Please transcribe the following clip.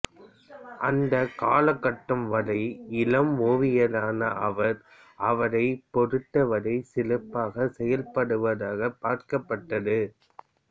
அந்தக் கால கட்டம் வரை இளம் ஓவியரான அவர் அவரைப் பொருத்தவரை சிறப்பாக செயல்படுவதாக பார்க்கப்பட்டது